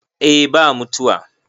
eh ba mutuwa